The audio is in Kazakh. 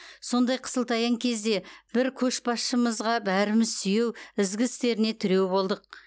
сондай қысылтаяң кезде бір көшбасшымызға бәріміз сүйеу ізгі істеріне тіреу болдық